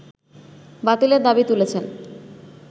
বাতিলের দাবি তুলেছেন